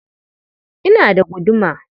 Ina da guduma.